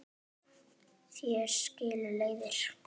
Hér skilur leiðir.